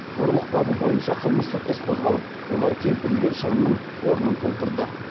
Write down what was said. ұрлық бабы бойынша қылмыстық іс қозғалып олар келтірілген шығынның орнын толтырды